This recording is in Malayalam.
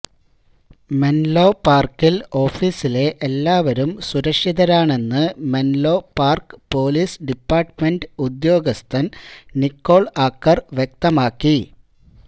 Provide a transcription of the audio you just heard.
മെൻലോ പാർക്കിൽ ഓഫീസിലെ എല്ലാവരും സുരക്ഷിതരാണെന്ന് മെൻലോ പാർക്ക് പൊലീസ് ഡിപ്പാർട്ട്മെന്റ് ഉദ്യോഗസ്ഥൻ നിക്കോൾ ആക്കർ വ്യക്തമാക്കി